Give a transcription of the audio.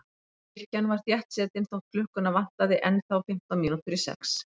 Kirkjan var þéttsetin þótt klukkuna vantaði ennþá fimmtán mínútur í sex.